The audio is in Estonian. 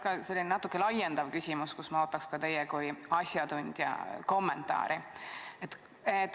Mul on selline natuke laiendav küsimus, millele ma ootan teie kui asjatundja kommentaari.